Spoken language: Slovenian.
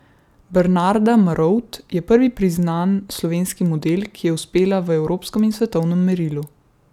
Bernarda Marovt je prvi priznan slovenski model, ki je uspela v evropskem in svetovnem merilu.